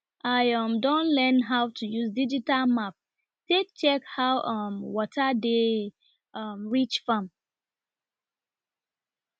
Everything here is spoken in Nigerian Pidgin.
i um don learn how to use digital map take check how um water dey um reach farm